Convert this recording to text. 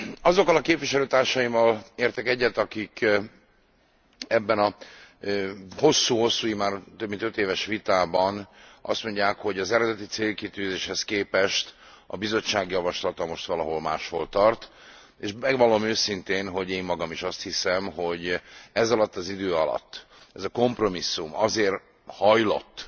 Azokkal a képviselőtársaimmal értek egyet, akik ebben a hosszú hosszú, immár több mint öt éves vitában azt mondják, hogy az eredeti célkitűzéshez képest a Bizottság javaslata most valahol máshol tart, és megvallom őszintén, hogy én magam is azt hiszem, hogy ezalatt az idő alatt ez a kompromisszum azért hajlott